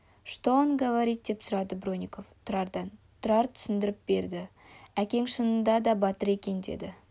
что он говорит деп сұрады бронников тұрардан тұрар түсіндіріп берді әкең шынында да батыр екен деді